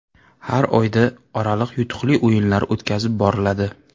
Har oyda oraliq yutuqli o‘yinlar o‘tkazilib boriladi.